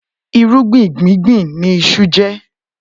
Irúgbìn gbùngbùn ni iṣu jẹ́.